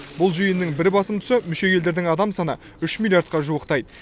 бұл жиынның бір басым тұсы мүше елдердің адам саны үш миллиардқа жуықтайды